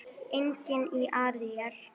Einnig í Ísrael.